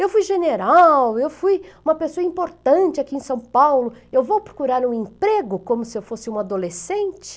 Eu fui general, eu fui uma pessoa importante aqui em São Paulo, eu vou procurar um emprego como se eu fosse um adolescente?